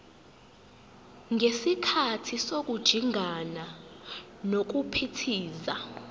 ngesikhathi sokujingana nokuphithiza